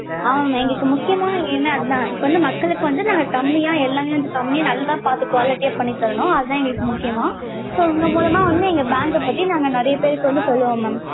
ஆமா mam எங்களுக்கு முக்கியமான எண்ணம் அதான் இப்ப வந்து மக்களுக்கு வந்து நாங்க கம்மியா எல்லாமே கம்மியா வந்து நல்லதா பாத்து quality யா பண்ணி தரனும். அது தான் எங்களுக்கு முக்கியம் mam so உங்க மூலியமா எங்க bank க பத்தி நாங்க நெறையா பேருக்கு வந்து சொல்லுவோம் mam.